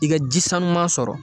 I ka ji sanuman sɔrɔ